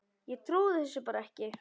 Ég trúði þessu bara ekki.